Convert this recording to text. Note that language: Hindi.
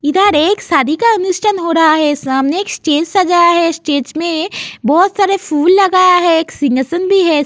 इधर एक शादी का अनुष्ठान हो रहा है सामने एक स्टेज सजाया है। स्टेज में बोहत सारा फूल लगाया है एक सिंहासन भी है।